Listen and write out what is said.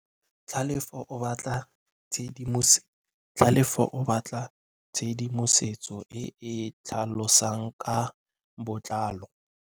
Tlhalefô o batla tshedimosetsô e e tlhalosang ka botlalô.